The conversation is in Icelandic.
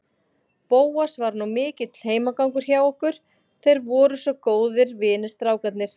Bóas var nú mikill heimagangur hjá okkur, þeir voru svo góðir vinir, strákarnir.